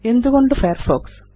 എന്തുകൊണ്ട് ഫയർഫോക്സ്